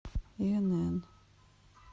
инн